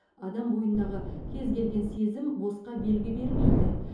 адам бойындағы кез келген сезім босқа белгі бермейді